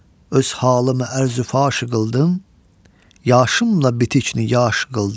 Öz halımı ərzü faşi qıldım, yaşım la bitikni yaş qıldım.